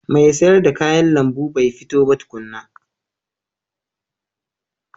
Mai sayar da kayan lambu ba fito ba tukuna.